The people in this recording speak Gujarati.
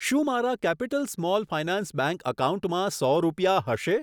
શું મારા કેપિટલ સ્મોલ ફાયનાન્સ બેંક એકાઉન્ટમાં સો રૂપિયા હશે?